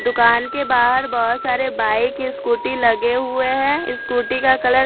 दूकान के बाहर बहोत सारे बाइक स्कूटी लगे हुए है स्कूटी का कलर --